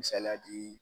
Misaliya di